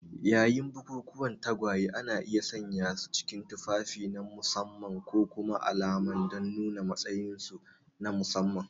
Yayin bukukuwan tagwayen, ana iya sanyasu cikin tufafi na musamman ko kuma alama don nuna matsayinsu na musamman.